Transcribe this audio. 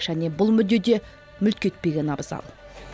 және бұл мүдде де мүлт кетпеген абзал